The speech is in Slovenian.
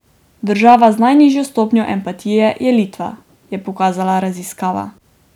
Država z najnižjo stopnjo empatije je Litva, je pokazala raziskava.